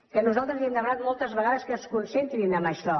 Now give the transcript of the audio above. que nosaltres li hem demanat moltes vegades que es concentrin en això